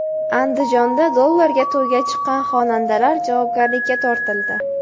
Andijonda dollarga to‘yga chiqqan xonandalar javobgarlikka tortildi.